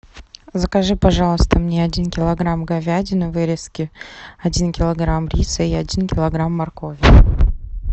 закажи пожалуйста мне один килограмм говядины вырезки один килограмм риса и один килограмм моркови